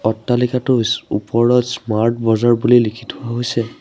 অট্টালিকাটোৰ ওপৰত Smart Bazaar বুলি লিখি থোৱা হৈছে।